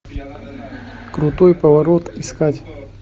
крутой поворот искать